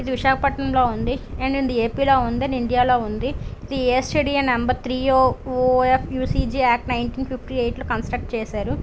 ఇది విశాఖపట్నంలో ఉంది .ఏపీలో ఉంది ఇండియాలో ఉంది .టీఎస్ స్టేడియం నెంబర్ త్రీయోపిక్ నినెటీన్ ఫిఫ్టీ ఎయిట్ లో కన్స్ట్రక్ట్ చేశారు.